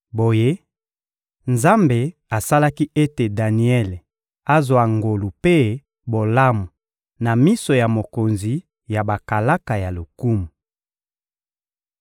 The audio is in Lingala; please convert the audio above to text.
Boye, Nzambe asalaki ete Daniele azwa ngolu mpe bolamu na miso ya mokonzi ya bakalaka ya lokumu.